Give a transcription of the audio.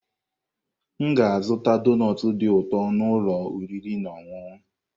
M ga-azụta donut dị ụtọ n'ụlọ oriri na ọṅụṅụ.